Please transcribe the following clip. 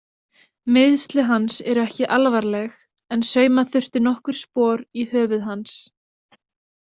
Meiðsli hans eru ekki alvarleg en sauma þurfti nokkur spor í höfuð hans.